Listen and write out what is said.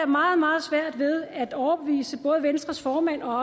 meget meget svært ved at overbevise både venstres formand og